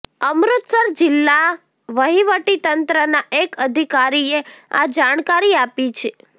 અમૃતસર જિલ્લા વહીવટીતંત્રના એક અધિકારીએ આ જાણકારી આપી છે